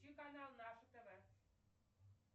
включи канал наше тв